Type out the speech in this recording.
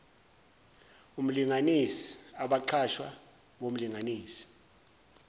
omlinganisi abaqashwa bomlinganisi